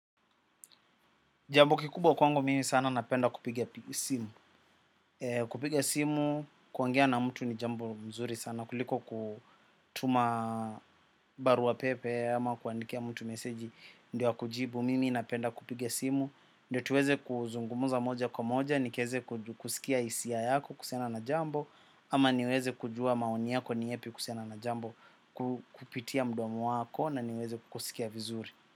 Jambo kikubwa kwangu mimi sana napenda kupigia simu. Kupigia simu kuongea na mtu ni jambo mzuri sana. Kuliko kutuma barua pepe ama kuandikia mtu meseji ndio kujibu. Mimi napenda kupiga simu. Ndiyo tuweze kuzungumuza moja kwa moja, nikieze kusikia hisia yako kuhusiana na jambo. Ama niweze kujua maoni yako ni yepi kuhusiana na jambo kupitia mdomo wako na niweze kusikia vizuri.